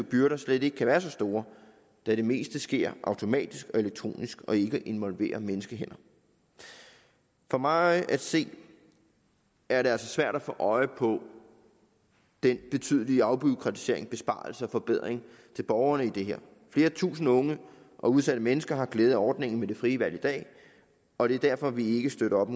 byrder slet ikke kan være så store da det meste sker automatisk og elektronisk og ikke involverer menneskehænder for mig at se er det altså svært at få øje på den betydelige afbureaukratiseringsbesparelse og forbedring for borgerne i det her flere tusinde unge og udsatte mennesker har glæde af ordningen med det frie valg i dag og det er derfor vi ikke støtter op